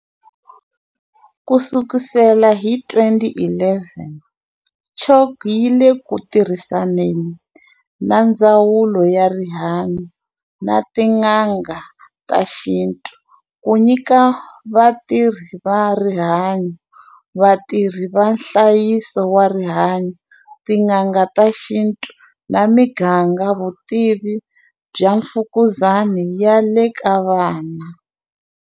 Ku sukusela hi 2011, CHOC yi le ku tirhisaneni na Ndzawulo ya Rihanyu na tin'anga ta xintu ku nyika vatirhi va rihanyu, vatirhi va nhlayiso wa rihanyu, tin'anga ta xintu na miganga vutivi bya mfukuzani ya le ka vana.